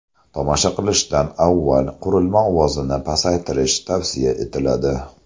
Tomosha qilishdan avval qurilma ovozini pasaytirish tavsiya etiladi.